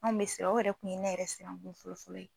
Anw bɛ siran , o yɛrɛ tun ye ne yɛrɛ siran kosɛbɛ kosɛbɛ.